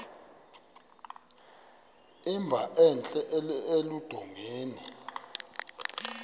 emba entla eludongeni